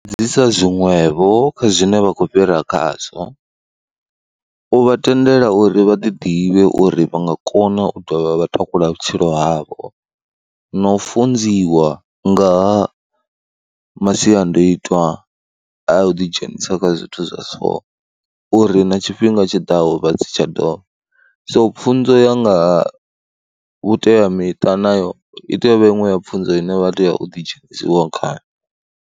Dzhi isa zwiṅwevho kha zwine vha khou fhira khazwo, u vha tendela uri vha ḓi ḓivhe uri vha nga kona u dovha vha takula vhutshilo havho. Na u funziwa nga ha masiandaitwa a u ḓidzhenisa kha zwithu zwa so, uri na tshifhinga tshi ḓaho vha si tsha dovha. So pfhunzo ya nga vhuteamiṱa nayo i tea u vha iṅwe ya pfhunzo ine vha tea u ḓi dzhenisiwa khayo.